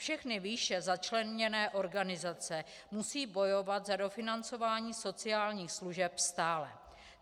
Všechny výše začleněné organizace musí bojovat za dofinancování sociálních služeb stále.